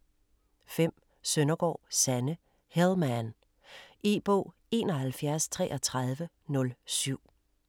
5. Søndergaard, Sanne: Hell man E-bog 713307